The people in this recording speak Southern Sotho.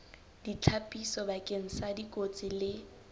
ditlhapiso bakeng sa dikotsi le